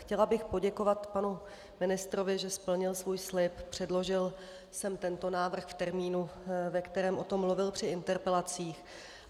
Chtěla bych poděkovat panu ministrovi, že splnil svůj slib, předložil sem tento návrh v termínu, ve kterém o tom mluvil při interpelacích.